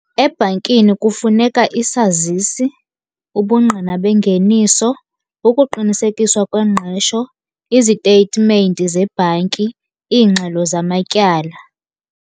Ebhankini kufuneka isazisi, ubungqina bengeniso, ukuqinisekiswa kwengqesho, izitetimenti zebhanki, iingxelo zamatyala.